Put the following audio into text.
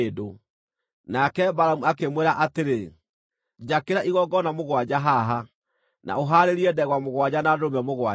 Nake Balamu akĩmwĩra atĩrĩ, “Njakĩra igongona mũgwanja haha, na ũhaarĩrie ndegwa mũgwanja na ndũrũme mũgwanja.”